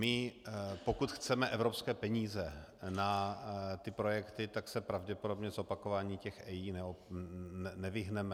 My pokud chceme evropské peníze na ty projekty, tak se pravděpodobně zopakování těch EIA nevyhneme.